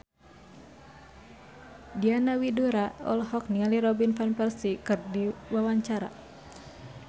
Diana Widoera olohok ningali Robin Van Persie keur diwawancara